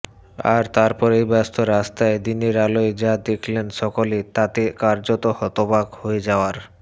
আর তারপরই ব্যস্ত রাস্তায় দিনের আলোয় যা দেখলেন সকলে তাতে কার্যত হতবাক হয়ে যাওয়ার